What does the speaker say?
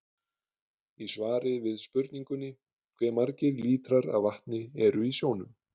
Í svari við spurningunni Hve margir lítrar af vatni eru í sjónum?